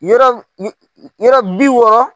Yɔrɔ yɔrɔ bi wɔɔ